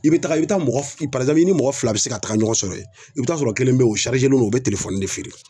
I bi taga i be taa mɔgɔf parizanpulu i ni mɔgɔ fila be se ka taga ɲɔgɔn sɔrɔ yen i be taa sɔrɔ kelen be yen o sarizelen do o be telefɔni de feere